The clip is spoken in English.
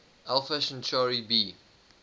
alpha centauri b